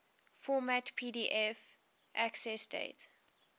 format pdf accessdate